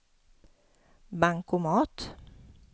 bankomat